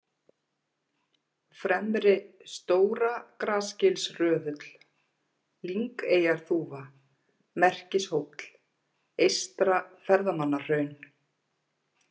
Fremri-Stóragrasgilsröðull, Lyngeyjarþúfa, Merkishóll, Eystra-Ferðamannahraun